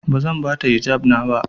Bazan bata hijabi na ba.